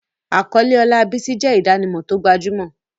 Àkọlé ọlá Bisi jẹ́ ìdánimọ̀ tó gbajúmọ̀.